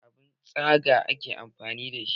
Da abun tsaga ake amfani da.